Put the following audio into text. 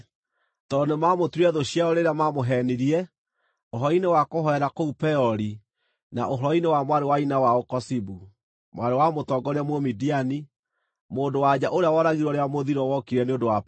tondũ nĩmamũtuire thũ ciao rĩrĩa maamũheenirie ũhoro-inĩ wa kũhoera kũu Peori na wa mwarĩ wa nyina wao Kozibi, mwarĩ wa mũtongoria Mũmidiani, mũndũ-wa-nja ũrĩa woragirwo rĩrĩa mũthiro wokire nĩ ũndũ wa Peori.”